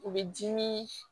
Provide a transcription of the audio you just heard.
U bɛ dimi